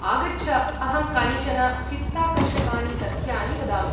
आगच्छ, अहं कानिचन चित्ताकर्षकानि तथ्यानि वदामि।